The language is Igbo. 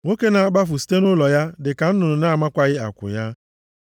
Nwoke na-akpafu site nʼụlọ ya dị ka nnụnụ na-amakwaghị akwụ ya.